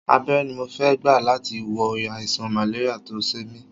Abẹ́rẹ́ ni mo fẹ́ gbà láti wo àìsàn màléríà tó ń ṣe mí